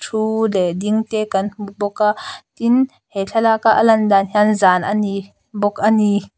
thu leh ding te kan hmu bawk a tin he thlalaka a lan dan hian zan a ni bawk a ni.